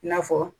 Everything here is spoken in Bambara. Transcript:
I n'a fɔ